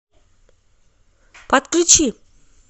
подключи